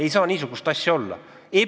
Ei saa niisugust asja olla!